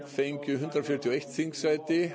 fengu hundrað fjörutíu og eitt þingsæti